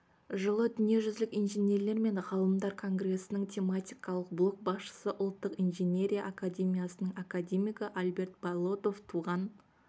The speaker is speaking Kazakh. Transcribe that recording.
жылы дүниежүзілік инженерлер мен ғалымдар конгресінің тематикалық блок басшысы ұлттық инженерия академиясының академигі альберт болотов туған